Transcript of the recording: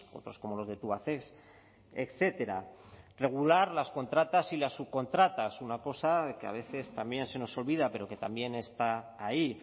otros como los de tubacex etcétera regular las contratas y las subcontratas una cosa que a veces también se nos olvida pero que también está ahí